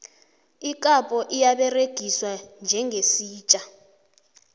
ikapho iyaberegiswa njengesitja